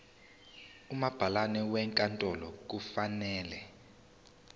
umabhalane wenkantolo kufanele